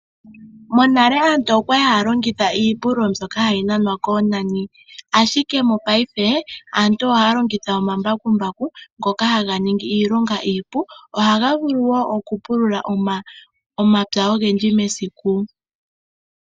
Monale aantu okwali haya longitha iipululo mbyoka hayi nanwa koonani. Ashike mongashingeyi aantu ohaya longitha omambakumbaku ngoka haga ningi iilonga iipu. Ohaga vulu woo oku pulula omapya ogendji mesiku.